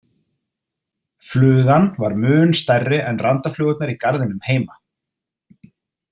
Flugan var mun stærri en randaflugurnar í garðinum heima.